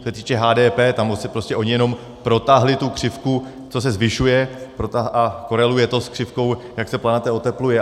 Co se týče HDP, tam prostě oni jenom protáhli tu křivku, co se zvyšuje, a koreluje to s křivkou, jak se planeta otepluje.